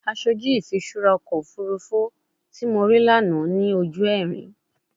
Aṣoju ifiṣura ọkọ ofurufu ti mo rii lana ni oju ẹrin